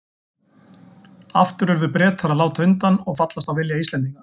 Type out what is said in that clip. Aftur urðu Bretar að láta undan og fallast á vilja Íslendinga.